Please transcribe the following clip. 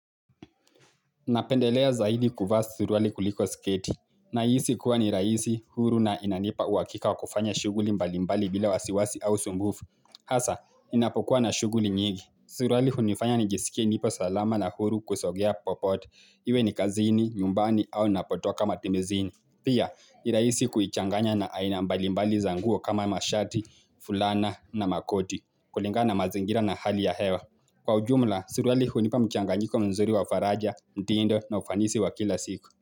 Napendelea zaidi kuvaa suruali kuliko sketi. Na hisi kuwa ni rahisi, huru na inanipa uhakika wakufanya shuguli mbalimbali bila wasiwasi au sumbufu. Hasa, inapokuwa na shughuli nyingi. Suruali hunifanya nijisikie nipo salama na huru kusogea popote Iwe ni kazini, nyumbani au napotoka matimizini. Pia, nirahisi kuichanganya na aina mbalimbali zanguo kama mashati, fulana na makoti. Kulinga na mazingira na hali ya hewa. Kwa ujumla, suruali hunipa mchanganyiko mzuri wa faraja, mtindo na ufanisi wa kila siku.